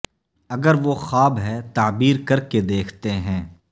اگر وہ خواب ہے تعبیر کر کے دیکھتے ہیں